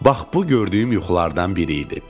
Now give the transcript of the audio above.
Bax bu gördüyüm yuxulardan biri idi.